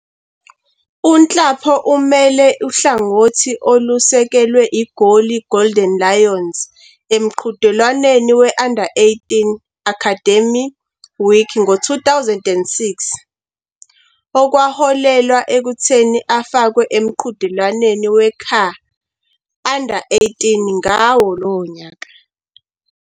UNhlapo umele uhlangothi olusekelwe eGoli IGolden Lions emqhudelwaneni we-Under-18 Academy Week ngo-2006, okwaholela ekutheni afakwe emqhudelwaneni we-CAR Under-18 ngalowo nyaka.